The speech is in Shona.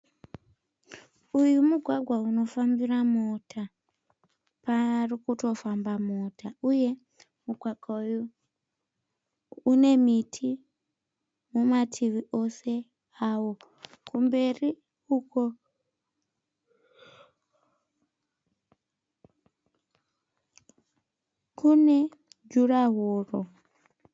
Uyu mugwagwa unofambira mota. Pari kutofamba mota uye mugwagwa uyu une miti mumativi ose avo kumberi uko kune jurahoro.